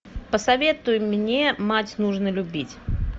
посоветуй мне мать нужно любить